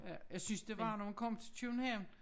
Ja jeg synes det værre når man kom til København